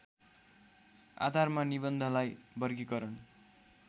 आधारमा निबन्धलाई वर्गीकरण